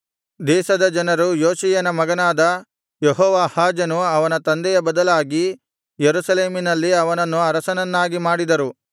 ದೇಶದ ಜನರು ಯೋಷೀಯನ ಮಗನಾದ ಯೆಹೋವಾಹಾಜನು ಅವನ ತಂದೆಯ ಬದಲಾಗಿ ಯೆರೂಸಲೇಮಿನಲ್ಲಿ ಅವನನ್ನು ಅರಸನನ್ನಾಗಿ ಮಾಡಿದರು